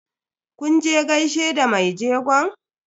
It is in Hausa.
Kun je gaishe da mai jegon?